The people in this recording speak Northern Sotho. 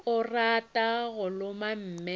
o rata go loma mme